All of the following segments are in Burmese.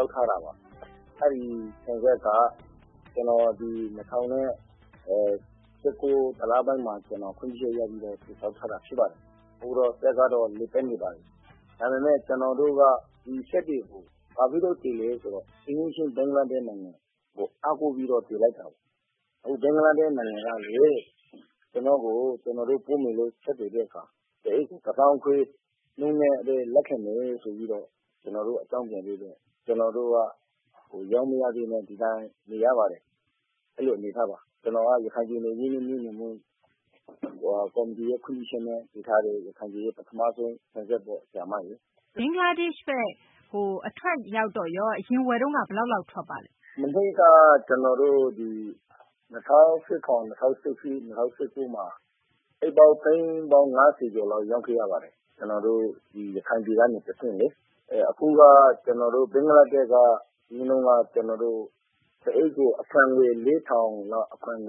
ောက်ထားတာပါ။ အဲဒီ ဆန်စက်က ကျနော် ဒီ ၂၀၁၉ - ၁ လပိုင်းမှာ ခွင့်ပြုချက်ရပြီးတော့ တည်ဆောက်ထားတာ ဖြစ်ပါတယ်။ အခုတော့ စက်ကတော့ လည်ပတ်နေပါတယ်။ ဒါပေမယ့် ကျနော်တို့က ဒီစက်တွေကို ဘာဖြစ်လို့တည်လဲ ဆိုတော့ အိမ်နီးချင်း ဘင်္ဂလားဒေရှ့် နိုင်ငံကို အားကိုးပြီးတော့ တည်လိုက်တာပါ။ အခု ဘင်္ဂလားဒေရှ့် နိုင်ငံကနေ ကျနော်တို့ ဆက်သွယ်တဲ့ အခါမှာ အခွန် ၁ သောင်းခွဲ နှုန်းနဲ့ဘဲ လက်ခံမယ်လို့ အကြောင်းပြန်တော့ ကျနော်တို့ ရောင်းမရဘဲနဲ့ ဒီအတိုင်း နေရပါတယ်။ အဲလို အနေအထားပါ။ ကျနော်က ရခိုင်ပြည်နယ် ရင်းနှီးမြှုပ်နှံမှု ကော်မတီရဲ့ ခွင့်ပြုချက်နဲ့ တည်ထားတဲ့ ရခိုင်ပြည်ရဲ့ ပထမဆုံး ဆန်စက်ပေါ့။ ဘင်္ဂလားဒေရှ့်ဘက် အထွက်ရောက်တော့ရော အရင်ဝယ်တုန်းက ဘယ်လောက်လောက် ထွက်ပါလဲ။ မနှစ်က ကျနော်တို့ ဒီ ၂၀၁၇၊ ၂၀၁၈၊ ၂၀၁၉ မှာ အိတ်ပေါင်း သိန်း ၅၀ လောက် ရောင်းခဲ့ရပါတယ်။ ကျနော်တို့ ဒီ ရခိုင်ပြည်ကနေ တဆင့်လေ။ အခုက ဘင်္ဂလားဒေရှ့်က အရင်က တအိတ်ကို အခွန်ငွေ ၄၀၀၀ ကျပ်လောက် ကောက်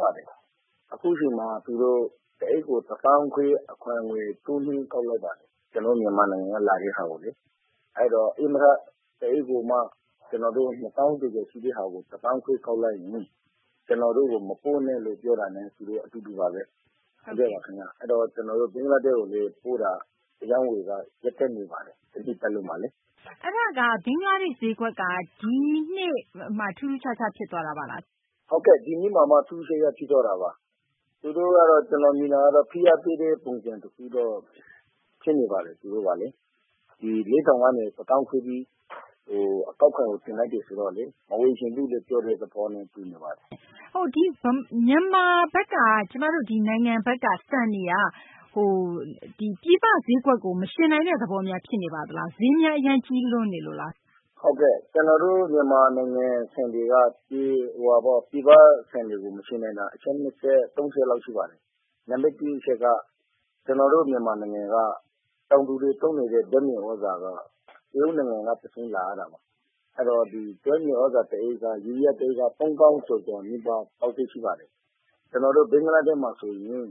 ပါတယ်။ အခုအချိန်မှာ သူတို့ တအိတ်ကို အခွန်ငွေ ၁၅,၀၀၀ တိုးမြှင့် ကောက်လိုက်ပါတယ်။ ကျနော်တို့ မြန်မာနိုင်ငံက လာတဲ့ဟာကိုလေ။ အဲတော့ ဧည့်မထ တအိတ်ကိုမှ ၂၀,၀၀၀ ကျော်ကျော် ရှိတဲ့ဟာကိုမှ ၁၅,၀၀၀ ကောက်လိုက်ရင် ကျနော်တို့ကို မပို့နဲ့လို့ ပြောတာနဲ့ အတူတူပါဘဲ။ အဲတော့ ကျနော်တို့ ဘင်္ဂလားဒေရှ့်ကို ပို့တာ အရောင်းအဝယ်ကလည်း ရပ်တန့်နေပါတယ်။ တနှစ်ပတ်လုံးမှာလေ။ ဘင်္ဂလားဒေရှ့် ဈေးကွက်က ဒီနှစ်ရောက်မှ ထူးထူးခြားခြား ဖြစ်သွားတာပါလား။ ဟုတ်ကဲ့။ ဒီနှစ်မှာမှ ထူးထူးခြားခြား ဖြစ်သွားတာပါ။ သူတို့ကတော့ ကျနော် မြင်တာတော့ ဖိအားပေးတဲ့ ပုံစံ တခုတော့ ဖြစ်နေပါတယ်။ သူတို့ကလေ။ ဒီ ၄,၀၀၀ ကနေ ၁၅,၀၀၀ ထိ အကောက်ခွန်ကို တင်လိုက်တယ် ဆိုတော့လေ မဝယ်ချင်ဘူးလို့ ပြောတဲ့ သဘောနဲ့ တူနေပါတယ်။ မြန်မာဆန်က ပြည်ပဈေးကွက်ကို မယှဉ်နိုင်တဲ့ သဘောများ ဖြစ်နေလား။ ဈေးများ အရမ်းကြီးလွန်းနေပါလား။ ကျနော်တို့ မြန်မာနိုင်ငံ ဆန်တွေက ပြည်ပဆန်တွေကို မယှဉ်နိုင်တာ အချက် ၃ ချက်လောက် ရှိပါတယ်။ နံပတ် ၁ အချက်က ကျနော်တို့ မြန်မာနိုင်ငံက တောင်သူတွေ သုံးနေတဲ့ ဓာတ်မြေသြဇာက တရုတ်နိုင်ငံက တဆင့် လာရတာပါ။ အဲဒီတော့ ယူရီးယား ဓာတ်မြေသြဇာ တအိတ်က သုံးသောင်း ကျော်ကျော် လေးသောင်းလောက် ပေါက်ဈေးရှိပါတယ်။ ကျနော်တို့ ဘင်္ဂလားဒေရှ့်မှာ ဆိုရင်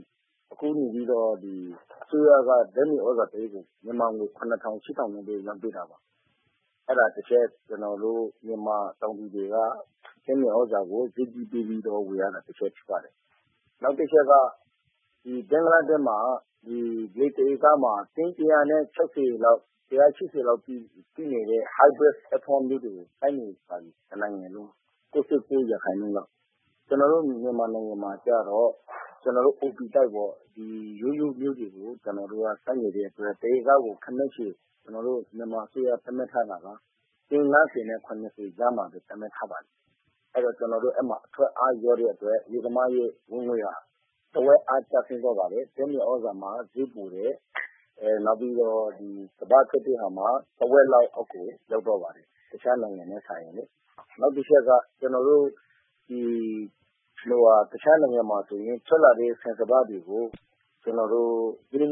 အစိုးရက ဓာတ်မြေသြဇာ တအိတ်ကို မြန်မာငွေ ၇၀၀၀ - ၈၀၀၀ နဲ့ဘဲ ရောင်းပေးတာပါ။ အဲဒါ တချက် ကျနော်တို့ မြန်မာ တောင်သူတွေက ဓာတ်မြေသြဇာကို ဈေးကြီးပေးပြီးတော့ ဝယ်ရတာ ဖြစ်ပါတယ်။ နောက်တချက်က ဘင်္ဂလားဒေရှ့်မှာ လယ်တဧကမှာ တင်း ၁၆၀ လောက် ၁၈၀ လောက်ထိ ထွက်တဲ့ Hybrid မျိုးတွေကို စိုက်နေပါပြီ။ တနိုင်ငံလုံး။ ၉၉ ရာခိုင်နှုန်းလောက်။ ကျနော်တို့ မြန်မာနိုင်ငံမှာကျတော့ ကျနော်တို့ ရိုးရိုးမျိုးတွေကို စိုက်နေတဲ့ အတွက် တဧကကို ခန့်မှန်းခြေ ကျနော်တို့ မြန်မာ အစိုးရ သတ်မှတ်ထားတာက တင်း ၅၀ နဲ့ ၇၀ ကြားမှာဘဲ သတ်မှတ်ထားပါတယ်။ ကျနော်တို့ အဲဒီမှာ အထွက်အား လျော့တဲ့ အတွက် လယ်သမားရဲ့ ဝင်ငွေဟာ တဝက်အား ကျဆင်းသွားပါတယ်။ ဓာတ်မြေသြဇာမှာ ဈေးပိုတယ်။ နောက်ပြီးတော့ စပါးထွက်တဲ့ဟာမှာ တဝက်လောက် အောက်ကို ရောက်သွားပါတယ်။ တခြားနိုင်ငံနဲ့ စာရင်။ နောက်တချက်က တခြားနိုင်ငံမှာ ဆိုရင် ထွက်လာတဲ့ ဆန်စပါးတွေကို ဈေးနှု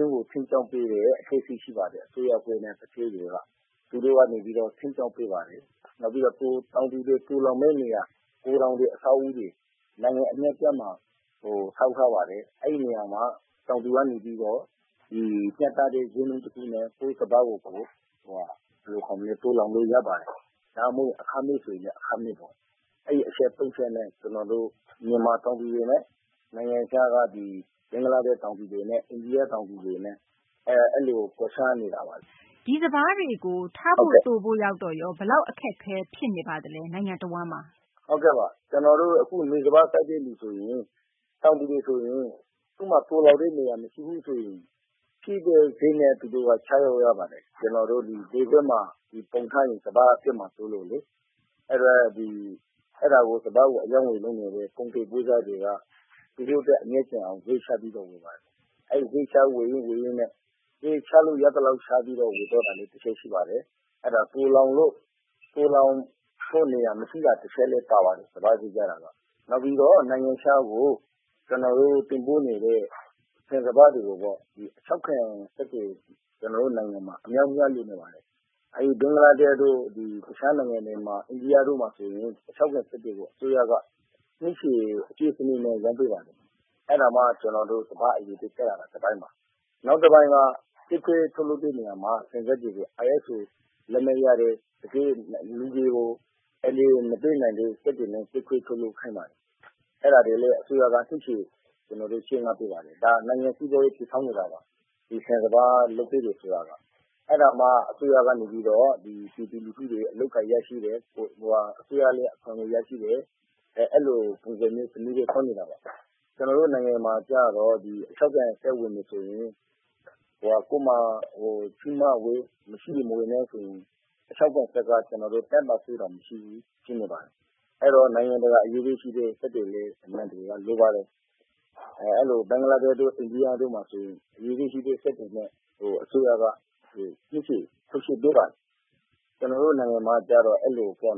န်း ထိန်းကျောင်းပေးတဲ့ အဖွဲ့အစည်း ရှိပါတယ်။ အစိုးရ အဖွဲ့နဲ့ သူဌေးတွေက။ သူတို့က နေပြီးတော့ ထိန်းကျောင်းပေးပါတယ်။ နောက်ပြီးတော့ တောင်သူတွေ သိုလှောင်မယ့် နေရာ ဂိုထောင်တွေ အဆောက်အအုံတွေ နိုင်ငံ အနှံအပြားမှာ ဆောက်ထားပါတယ်။ အဲဒီနေရာမှာ တောင်သူက နေပြီးတော့ မျှတတဲ့ ဈေးနှုန်း တခုနဲ့ ကိုယ့်စပါးကို သိုလှောင်လု့ိ ရပါတယ်။ ဒါမှမဟုတ် အခမဲ့ ဆိုရင်လည်း အခမဲ့ပေါ့။ အဲဒီ အချက်သုံးချက်နဲ့ ကျနော်တို့ မြန်မာ တောင်သူတွေနဲ့ ဘင်္ဂလားဒေရှ့် တောင်သူတွေနဲ့ အိန္ဒိယ တောင်သူတွေနဲ့ အဲလို ကွာခြားနေတာပါ။ ဒီစပါးတွေကို ထားဖို့ သိုဖို့ ရောက်တော့ရော ဘယ်လောက် အခက်အခဲ ဖြစ်နေပါသလဲ နိုင်ငံတဝန်းမှာ။ ဟုတ်ကဲ့ပါ။ ကျနော်တို့ အခု နွေစပါး စိုက်တဲ့သူ ဆိုရင် တောင်သူတွေ ဆိုရင် သူ့မှာ သိုလှောင်တဲ့ နေရာ မရှိဘူးဆိုရင် ဖြစ်တဲ့ ဈေးနဲ့ သူတို့က ချရောင်းရပါတယ်။ ကျနော်တို့ လယ်ကွက်မှာပုံထားရင် စပါးက ပျက်မှာ စိုးလို့။ အဲဒါကို စပါးကို အရောင်းအဝယ် လုပ်နေတဲ့ ကုန်သည် ပွဲစားတွေက သူတို့ အတွက် အမြတ်ကျန်အောင် ဈေးချပြီးတော့ ဝယ်ပါတယ်။ အဲလို ဈေးချ ဝယ်ရင်း ဝယ်ရင်းနဲ့ ဈေးချလို့ ရသလောက် ချပြီး တချို့ ဝယ်သွားတာလည်း ရှိပါတယ်။ အဲဒါ သိုလှောင်တဲ့ နေရာ မရှိတာလည်း တချက်ပါပါတယ်။ စပါးဈေး ကျတာက။ နောက်ပြီးတော့ နိုင်ငံခြားကို ကျနော်တို့ တင်ပို့နေတဲ့ ဆန်စပါးတွေကိုပေါ့ အခြောက်ခံ စက်တွေ ကျနော်တို့ နိုင်ငံမှာ အမြောက်အများ လိုနေပါတယ်။ အဲဒီ ဘင်္ဂလားဒေရှ့်တို့ အခြား နိုင်ငံတွေမှာ အိန္ဒိယတို့မှာ ဆိုရင် အခြောက်ခံ စက်တွေကို အစိုးရက နှစ်ရှည် အကြွေးစနစ်နဲ့ ရောင်းပေးပါတယ်။ အဲဒါက ကျနော်တို့ စပါး အရည်အသွေး ကျရတာ တပိုင်းပါ။ နောက်တပိုင်းက ကြိတ်ခွဲထုတ်လုပ်တဲ့ နေရာမှာ ဆန်စက်တွေကို ISO လက်မှတ်ရတဲ့ လူတွေကို အန္တရာယ် မပေးနိုင်တဲ့ စက်တွေနဲ့ ကြိတ်ခွဲထုတ်လုပ်ခိုင်းပါတယ်။ အဲဒါကိုလည်း အစိုးရက နှစ်ရှည် ချေးငှားပေးပါတယ်။ ဒါ နိုင်ငံ စီးပွားရေး တည်ဆောက်နေတာပါ။ ဒီ ဆန်စပါး လုပ်ပေးတယ် ဆိုတာက။ အဲဒါမှ အစိုးရက နေပြီးတော့ ပြည်သူလူထုရဲ့ အလုပ်အကိုင် ရရှိတယ်။ အစိုးရလည်း အခွန်ငွေ ရရှိတယ်။ အဲလို ပုံစံမျိုး စနစ်နဲ့ သွားနေတာပါ။ ကျနော်တို့ နိုင်ငံမှာ ကျတော့ အခြောက်ခံစက် ဝယ်မယ်ဆိုရင် ကိုယ့်မှာ ရှိမှဝယ် မရှိရင် မဝယ်နဲ့ ဆိုရင် အခြောက်ခံ စက်က ကျနော်တို့ ၁၀ ရာခိုင်နှုန်းတောင် မရှိဘူး ဖြစ်နေပါတယ်။ အဲဒီတော့ နိုင်ငံတကာ အရည်အသွေးရှိတဲ့ စက်တွေလည်း လိုပါတယ်။ ဘင်္ဂလားဒေရှ့်တို့ အိန္ဒိယ တို့ဆိုရင် အရည်အသွေးရှိတဲ့ စက်တွေ အတွက် အစိုးရက နှစ်ရှည် ထုတ်ချေးပေးပါတယ်။ ကျနော်တို့ နိုင်ငံမှာကျတော့ အဲလို အခက်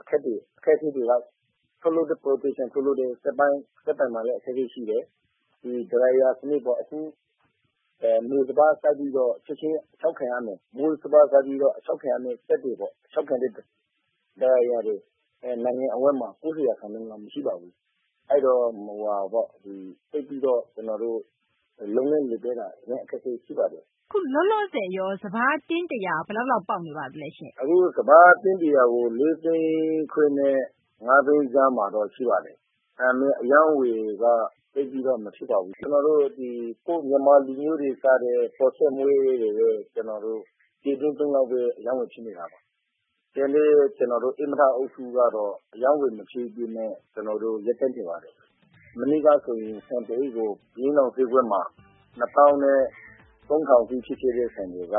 အခဲတွေက ထုတ်လုပ်တဲ့ Professional ထုတ်လုပ်တဲ့ စက်ပိုင်းမှာလည်း အခက်အခဲ ရှိတယ်။ အခြောက်ခံ စနစ်ပေါ့ အခု နွေစပါး စိုက်ပြီးတော့ ချက်ချင်း အခြောက်ခံ ရမယ်၊ မိုးစပါး စိုက်ပြီး အခြောက်ခံရမယ့် စက်တွေပေါ့ အခြောက်ခံတဲ့ Dryer တွေ နိုင်ငံအဝှန်းမှာ ၉၀ ရာခိုင်နှုန်းက မရှိပါဘူး။အဲဒီတော့ ကျနော်တို့ လုပ်ငန်း လည်ပတ်တာ အခက်အခဲ ရှိပါတယ်။ အခု လောလောဆယ်ရော စပါး တင်း ၁၀၀ ဘယ်ဈေးပေါက်ပါလဲရှင်။ အခု စပါး တင်း ၁၀၀ ကို ၄၅၀,၀၀၀ နဲ့ ၅၀၀,၀၀၀ ကြား မှာတော့ ရှိပါတယ်။ ဒါပေမယ့် အရောင်းအဝယ်က သိပ်ပြီးတော့ မဖြစ်ပါဘူး။ ကျနော်တို့ ကိုယ့်မြန်မာလူမျိုးတွေ စားတဲ့ ပေါ်ဆန်းမွှေးတို့ဘဲ ပြည်တွင်းသုံးလောက်ဘဲ အရောင်းအဝယ် ဖြစ်နေတာပါ။ ကျန်တဲ့ ဧည့်မထ အုပ်စုကတော့ အရောင်းအဝယ် မဖြစ်ဘဲနဲ့ ကျနော်တို့ ရပ်တန့်နေပါတယ်။ မနှစ်က ဆိုရင် ဆန်တအိတ်ကို ဘုရင့်နောင် ဈေးကွက်မှာ ၂၃,၀၀၀ ထောင်ထိ ဖြစ်ခဲ့တဲ့ ဆန်တွေက